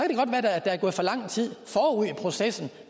det godt være der er gået for lang tid forud i processen